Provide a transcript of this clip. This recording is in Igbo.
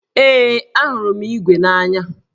Ee, ahụrụ m ígwè n'anya